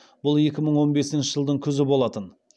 бұл екі мың он бесінші жылдың күзі болатын